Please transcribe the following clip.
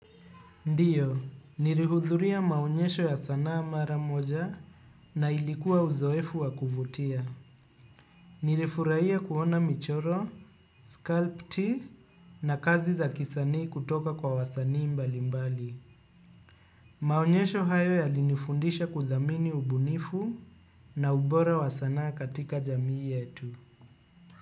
Ndiyo, nilihudhuria maonyesho ya sanaa mara moja na ilikuwa uzoefu wakuvutia. Nilifurahiya kuona michoro, scalp tii na kazi za kisanii kutoka kwa wasanii mbali mbali. Maonyesho hayo ya linifundisha kudhamini ubunifu na ubora wa sanaa katika jamii yetu.